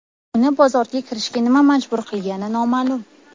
Uni bozorga kirishga nima majbur qilgani noma’lum.